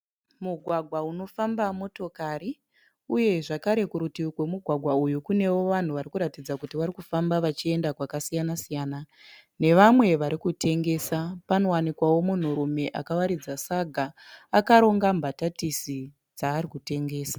Mugwagwa unofamba motokari uye zvakare kurutivi kwemugwagwa uyu kune vanhu vari kuratidza kuti vari kufamba vachienda kwakasiyana ne vamwe vari kutengesa. Panowanikwawo munhurume akawaridza saga akaronga mbatatisi dzaari kutengesa.